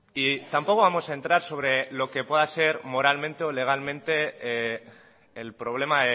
y tampoco vamos a entrar sobre lo que pueda ser moralmente o legalmente el problema